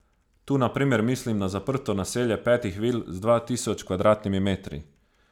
Tu na primer mislim na zaprto naselje petih vil z dva tisoč kvadratnimi metri.